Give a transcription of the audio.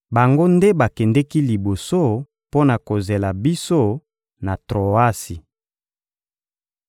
Bango nde bakendeki liboso mpo na kozela biso na Troasi.